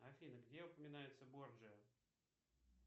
афина где упоминается борджиа